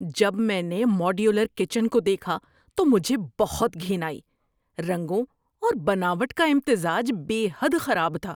جب میں نے ماڈیولر کچن کو دیکھا تو مجھے بہت گھن آئی۔ رنگوں اور بناوٹ کا امتزاج بے حد خراب تھا۔